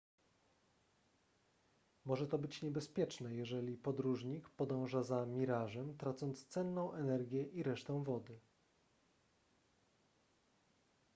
może to być niebezpieczne jeżeli podróżnik podąża za mirażem tracąc cenną energię i resztę wody